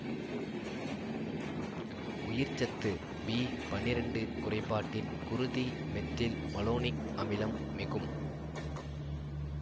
உயிர்ச்சத்து B பன்னிரண்டு குறைபாட்டில் குருதி மெத்தில் மலோனிக் அமிலம் மிகும்